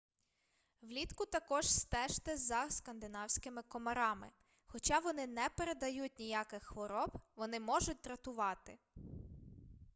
влітку також стежте за скандинавськими комарами хоча вони не передають ніяких хвороб вони можуть дратувати